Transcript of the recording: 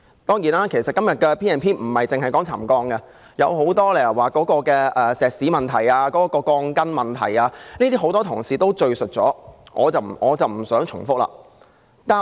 當然，今天的議案並不只討論沉降，還有石屎、鋼筋等許多其他問題，很多同事已論述這些問題，我不想重複。